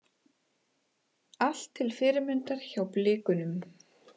Allt til fyrirmyndar hjá Blikunum.